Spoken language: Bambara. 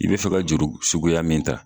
I bi fɛ ka juru suguya min ta